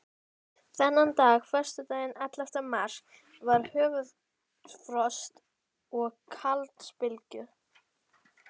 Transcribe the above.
Þennan dag, föstudaginn ellefta mars, var hörkufrost og kafaldsbylur.